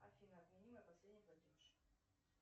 афина отмени мой последний платеж